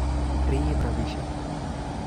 Riib rabishek